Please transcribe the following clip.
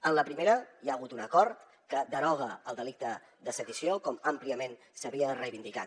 en la primera hi ha hagut un acord que deroga el delicte de sedició com àmpliament s’havia reivindicat